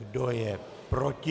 Kdo je proti?